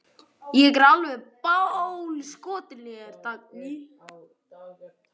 Ég er alveg bálskotinn í þér, Dagný!